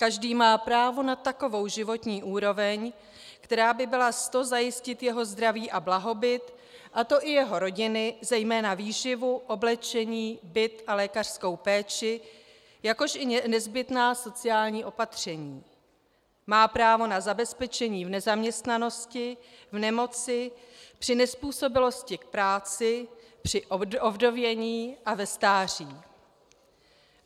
Každý má právo na takovou životní úroveň, která by byla s to zajistit jeho zdraví a blahobyt, a to i jeho rodiny, zejména výživu, oblečení, byt a lékařskou péči, jakož i nezbytná sociální opatření; má právo na zabezpečení v nezaměstnanosti, v nemoci, při nezpůsobilosti k práci, při ovdovění a ve stáří.